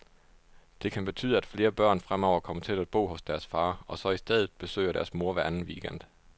Det kan betyde, at flere børn fremover kommer til at bo hos deres far, og så i stedet besøger deres mor hver anden weekend.